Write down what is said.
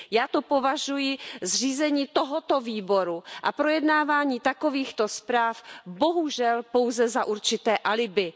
Já to považuji, zřízení tohoto výboru a projednávání takovýchto zpráv, bohužel pouze za určité alibi.